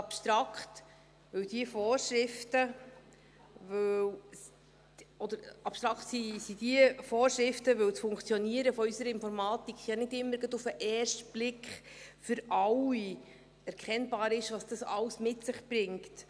Abstrakt sind die Vorschriften, weil beim Funktionieren unserer Informatik ja nicht immer für alle auf den ersten Blick erkennbar ist, was dies alles mit sich bringt.